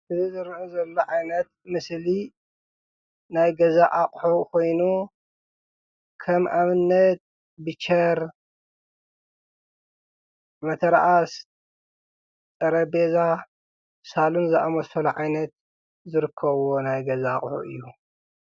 እዚ ዝረአ ዘሎ ዓይነት ምስሊ ናይ ገዛ ኣቕሑ ኾይኑ ከም ኣብነት ብቸር፣ መተርኣስ፣ ጠረጼዛ ሳሎን ዝኣመሰሉ ዓይነት ዝርከቡዎ ዓይነት ናይ ገዛ ኣቕሑ እዩ፡፡